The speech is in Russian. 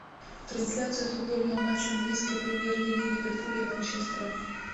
трансляция футбольного матча английской премьер лиги ливерпуля и манчестера